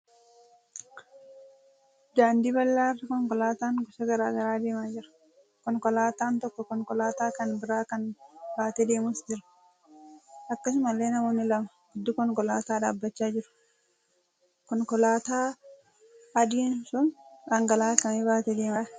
Daandii bal'aa irraa konkolaataan gosa garaa garaa deemaa jira. Konkolaataan tokko konkolaataa kan biraa kan baatee deemus jira. Akkasumallee namoonni lama gidduu konkolaataa dhaabbachaa jiru. Konkolaataa adiin sun dhangala'aa akkamii baatee deemaa jira?